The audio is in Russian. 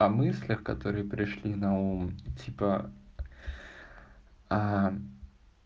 о мыслях которые пришли на ум типа а